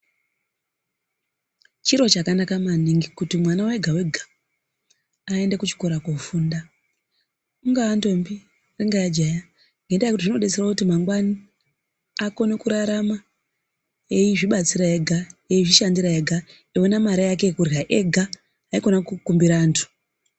Chiro chakanaka maningi kuti mwana ega-ega aende kuchikora kofunda. Ingaa ndombi, ingaa jaha ngendaa yekuti zvinovadetsera kuti mangwani akone kurarama eizvibatsira ega, eizvishandira ega, akone kuona mare yake yekurya ega haikona kukumbira antu.